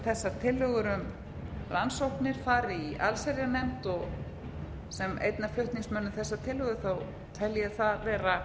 þessar tillögur um rannsóknir fari í allsherjarnefnd og sem einn af flutningsmönnum þessarar tillögu tel ég það vera